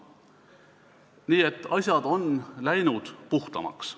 Nii et asjad on läinud puhtamaks.